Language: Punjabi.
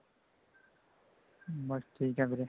ਬੱਸ ਠੀਕ ਹਾਂ ਵੀਰੇ